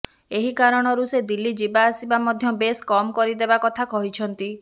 ଏହି କାରଣରୁ ସେ ଦିଲ୍ଲୀ ଯିବା ଆସିବା ମଧ୍ୟ ବେଶ କମ କରିଦେବା କଥା କହିଛନ୍ତି